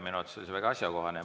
Minu meelest oli see väga asjakohane.